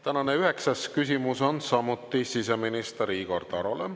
Tänane üheksas küsimus on samuti siseminister Igor Tarole.